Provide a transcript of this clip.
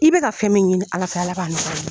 I bɛ ka fɛn min ɲini ala fɛ, ala b'a nɔgɔya i ye.